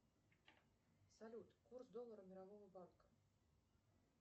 салют курс доллара мирового банка